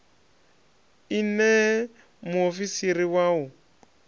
i ṋee muofisiri wa u